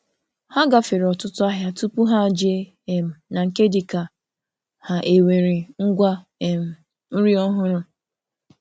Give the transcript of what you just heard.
Ha gafere ọtụtụ ahịa tupu ha jee um na nke dịka ha e nwere ngwa um nri ọhụrụ